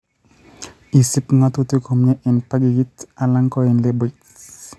Isib ng'otutik komyee eng' packagit ala ko eng' labelit